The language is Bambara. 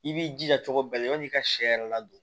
I b'i jija cogo bɛɛ la yanni i ka sɛ yɛrɛ ladon